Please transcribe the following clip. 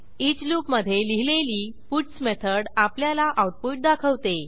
each लूपमधे लिहिलेली puts method आपल्याला आऊटपुट दाखवते